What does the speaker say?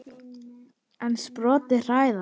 En sporin hræða.